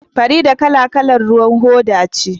Farida kalar kalar ruwan hoda ce